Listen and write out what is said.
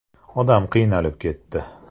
Odam qiynalib ketdi.